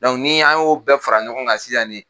ni an y'o bɛɛ fara ɲɔgɔn kan sisan ni